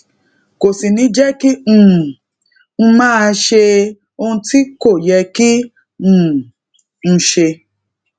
kò sì ní jé kí um n máa ṣe ohun tí kò yẹ kí um n ṣe